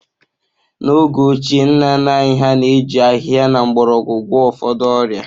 N’oge ochie, nna nna anyị hà na-eji ahịhịa na mgbọrọgwụ gwọọ ụfọdụ ọrịa